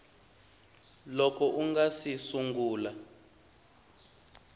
loko u nga si sungula